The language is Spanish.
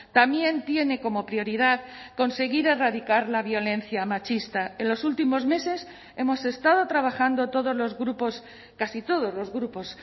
también tiene como prioridad conseguir erradicar la violencia machista en los últimos meses hemos estado trabajando todos los grupos casi todos los grupos